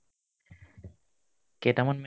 কেইটামান